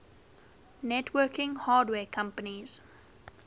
networking hardware companies